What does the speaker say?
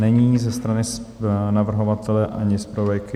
Není ze strany navrhovatele ani zpravodajky.